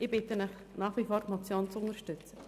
Ich bitte Sie nach wie vor, die Motion zu unterstützen.